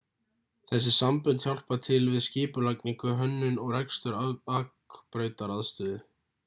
þessi sambönd hjálpa til við skipulagningu hönnun og rekstur akbrautaraðstöðu